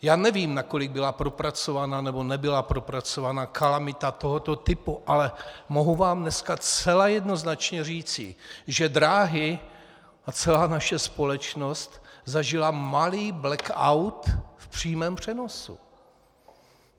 Já nevím, nakolik byla propracovaná, nebo nebyla propracovaná kalamita tohoto typu, ale mohu vám dneska zcela jednoznačně říci, že dráhy a celá naše společnost zažily malý blackout v přímém přenosu.